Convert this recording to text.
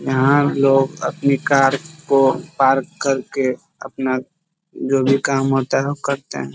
यहाँ लोग अपनी कार को पार्क करके अपना जो भी काम होता है वह करते हैं |